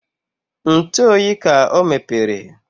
Ntụ ọyị ka ọ mepere